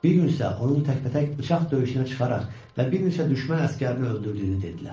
Bir gün isə onun təkbətək bıçaq döyüşünə çıxaraq və bir neçə düşmən əsgərini öldürdüyünü dedilər.